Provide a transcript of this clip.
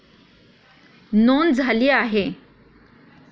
नोंद झाली आहे.